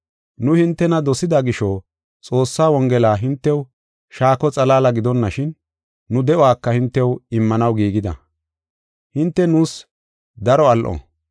Nu hintena dosida gisho Xoossaa Wongela hintew shaako xalaala gidonashin, nu de7uwaka hintew immanaw giigida. Hinte nuus daro al7o.